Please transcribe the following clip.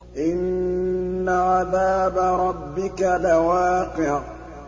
إِنَّ عَذَابَ رَبِّكَ لَوَاقِعٌ